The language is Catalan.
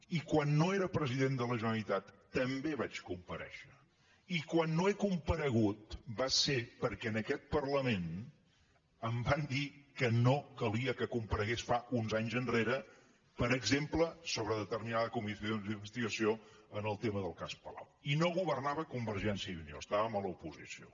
i quan no era president de la generalitat també vaig comparèixer i quan no he comparegut va ser perquè en aquest parlament em van dir que no calia que comparegués fa uns anys enrere per exemple sobre determinades comissions d’investigació en el tema del cas palau i no governava convergència i unió estàvem a l’oposició